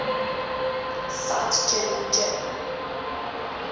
cite journal journal